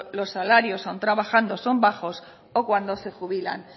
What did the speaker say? los salarios aun trabajando son bajos o cuando se jubilan